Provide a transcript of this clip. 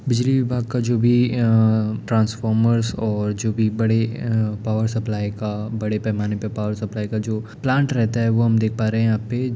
बिजली विभाग का जो भी अअ ट्रांसफॉर्मर्स और जो भी अ बड़े पावर सप्लाई का बड़े पैमाने पर पावर सप्लाई का जो प्लान्ट रहता वो हम देख पा रहे है यहाँ पे --